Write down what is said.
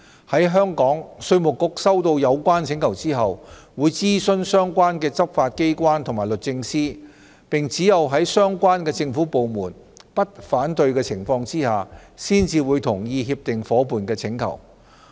在香港，稅務局收到有關請求後，會諮詢相關執法機關及律政司，並只有在相關政府部門不反對的情況下，才會同意協定夥伴的請求。